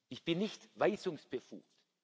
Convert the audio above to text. Ich bin nicht weisungsbefugt.